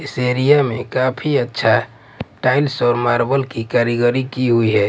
इस एरिया में काफी अच्छा टाइल्स और मार्बल की कारीगरी की हुई है।